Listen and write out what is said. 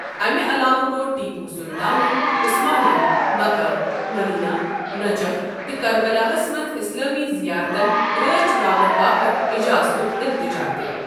اَمہِ علاوٕ كوٚر ٹیپو سُلطانن عثمانیَن مکہ، مٔدیٖنہ، نجف تہٕ کربلاہَس منٛز اسلٲمی زِیارتن راچھ راوٹھ باپت اجازتک التجا تہِ ۔